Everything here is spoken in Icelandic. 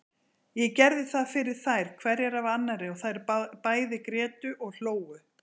Ég gerði það fyrir þær hverja af annarri og þær bæði grétu og hlógu.